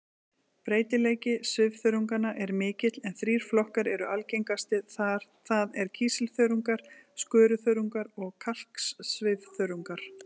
Breytileiki svifþörunganna er mikill en þrír flokkar eru algengastir, það er kísilþörungar, skoruþörungar og kalksvifþörungar.